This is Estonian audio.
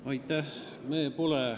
Aitäh!